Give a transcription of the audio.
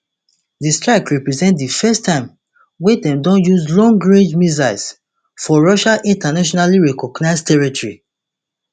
di strike represent di first time wey dem don use long range missiles for russia internationally recognized territory